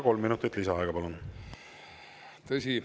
Kolm minutit lisaaega, palun!